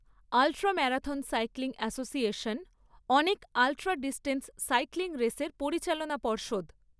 Ultra marathon cycling association অনেক ultra distance cycling রেসের পরিচালনা পর্ষদ।